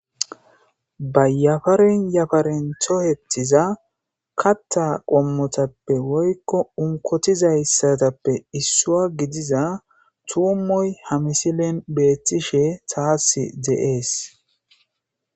Bayyafaren yafaren tohetiza katta qommotappe woykko unkotizayssatappe issua gidiza tuummoy hamisilen beettishe taas deees.